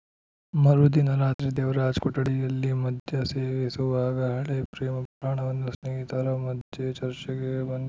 ಮರು ದಿನ ರಾತ್ರಿ ದೇವರಾಜ್‌ ಕೊಠಡಿಯಲ್ಲಿ ಮದ್ಯ ಸೇವಿಸುವಾಗ ಹಳೆ ಪ್ರೇಮ ಪುರಾಣವನ್ನು ಸ್ನೇಹಿತರ ಮಧ್ಯೆ ಚರ್ಚೆಗೆ ಬಂದಿ